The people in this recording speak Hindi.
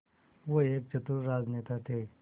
वो एक चतुर राजनेता थे